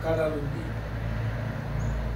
Kadalundi